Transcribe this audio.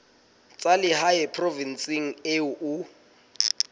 tsa lehae provinseng eo o